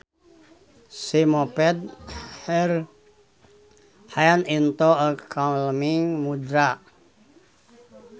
She moved her hands into a calming mudra